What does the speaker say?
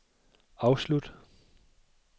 afslut